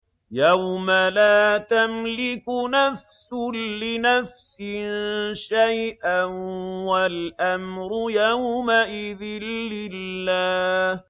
يَوْمَ لَا تَمْلِكُ نَفْسٌ لِّنَفْسٍ شَيْئًا ۖ وَالْأَمْرُ يَوْمَئِذٍ لِّلَّهِ